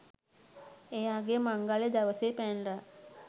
එයාගේ මංගල්‍ය දවසේ පැනලා